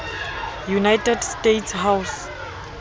united states house